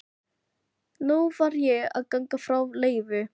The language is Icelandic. Nú varð ég að ganga frá Leifi.